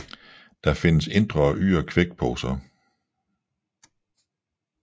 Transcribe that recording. Der findes indre og ydre kvækkeposer